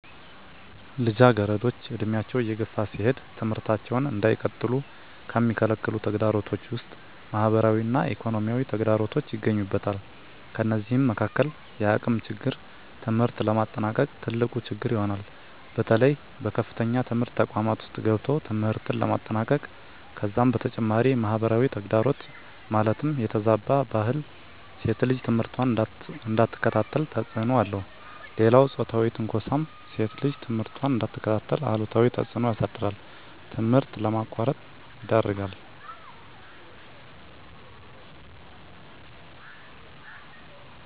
ልጃገረዶች ዕድሜያቸው እየገፋ ሲሄድ ትምህርታቸውን እንዳይቀጥሉ ከሚከለክሉ ተግዳሮቶች ውስጥ ማህበራዊ እና ኢኮኖሚያዊ ተግዳሮቶች ይገኙበታል። ከነዚህም መካካል የአቅም ችግር ትምህርት ለማጠናቀቅ ትልቁ ችግር ይሆናል። በተለይ በከፍተኛ ትምህርት ተቋማት ውስጥ ገብቶ ትምህርትን ለማጠናቀቅ ከዛም በተጨማሪ ማህበራዊ ተግዳሮት ማለትም የተዛባ ባህል ሴት ልጅ ትምህርቷን እንዳትከታተል ተፅዕኖ አለው። ሌላው ፆታዊ ትንኳሳም ሴት ልጅ ትምህርቷን እንዳትከታተል አሉታዊ ተፅዕኖ ያሳድራል ትምህርት ለማቋረጥ ይዳርጋል።